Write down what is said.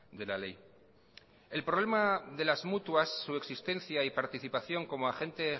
de la ley el problema de las mutuas su existencia y participación como agente